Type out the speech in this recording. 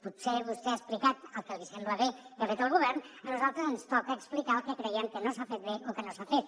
potser vostè ha explicat el que li sembla bé que ha fet el govern a nosaltres ens toca explicar el que creiem que no s’ha fet bé o que no s’ha fet